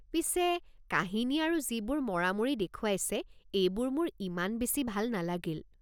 পিছে, কাহিনী আৰু যিবোৰ মৰামৰি দেখুৱাইছে এইবোৰ মোৰ ইমান বেছি ভাল নালাগিল।